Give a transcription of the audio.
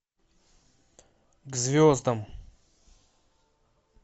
к звездам